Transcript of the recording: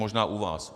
Možná u vás.